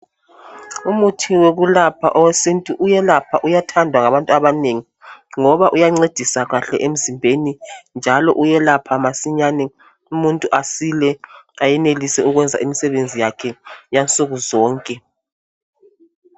Umuthi wokulapha owesintu uyelapha uyathandwa ngabantu abanengi ngoba uyancedisa kahle emzimbeni njalo uyelapha masinyane umuntu asile ayenelise ukwenza imsebenzi yakhe yansukuzonke